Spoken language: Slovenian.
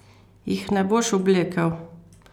Jih ne boš oblekel?